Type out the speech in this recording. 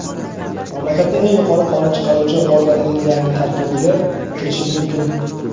mamlakatning eng yuqori qonun chiqaruvchi organining yangi tarkibiga kirishi mumkin.